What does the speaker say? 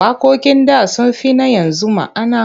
Waƙoƙin da sun fi na yanzu ma'ana.